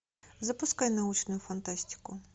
запускай научную фантастику